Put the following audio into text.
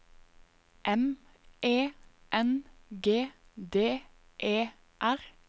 M E N G D E R